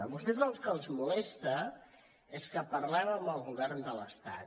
a vostès el que els molesta és que parlem amb el govern de l’estat